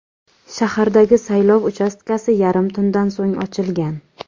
Shahardagi saylov uchastkasi yarim tundan so‘ng ochilgan.